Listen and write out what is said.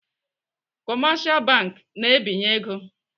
Kọmashal bank na-ebinye ego.